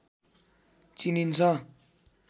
चिनिन्छ